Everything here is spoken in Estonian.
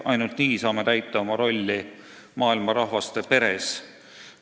Ainult nii saame täita oma rolli maailma rahvaste peres.